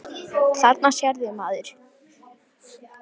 Þarna sérðu, maður.